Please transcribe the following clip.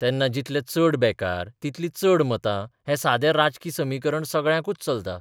तेन्ना जितले चड बेकार तितलीं चड मतां हैं सादें राजकी समीकरण सगळ्याकूच चलता.